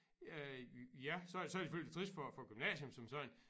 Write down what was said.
Øh ja så så det selvfølgelig trist for for gymnasium som sådan